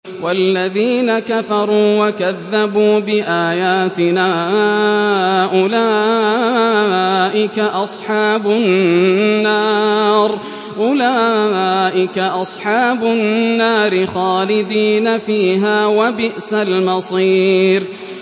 وَالَّذِينَ كَفَرُوا وَكَذَّبُوا بِآيَاتِنَا أُولَٰئِكَ أَصْحَابُ النَّارِ خَالِدِينَ فِيهَا ۖ وَبِئْسَ الْمَصِيرُ